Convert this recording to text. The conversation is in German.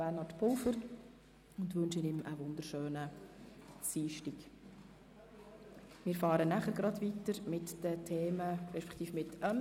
Gebäudesanierungen sind energie- und klimapolitisch wichtig und daher ist auf eine Kürzung zu verzichten.